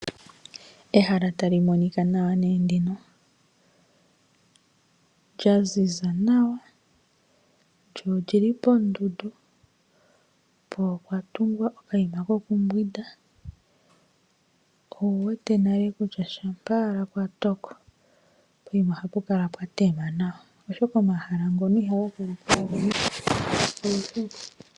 Ehala tali monika nee nawa ndino, lya ziza nawa. Lyo lyili poondundu, po opwa tungwa okayima kokumbwinda. Owu wete nale kutya shampa owala kwa toko, poima ohapu kala pwa tema nawa oshoka omahala ngono ihaga vulu pu kale pwa dhima.